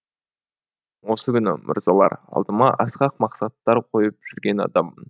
мен осы күні мырзалар алдыма асқақ мақсаттар қойып жүрген адаммын